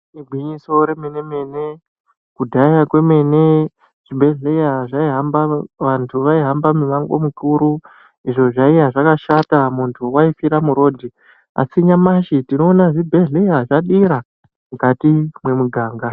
Igwinyiso remene mene kudhaya kwemene zvibhedhlera vantu vaihamba mimango mikuru izvo zviye zvakashata muntu waifira murodhi asi nyamashi tinoona zvibhedhlera zvadira mukati mwemuganga.